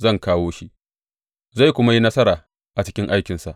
Zan kawo shi, zai kuma yi nasara a cikin aikinsa.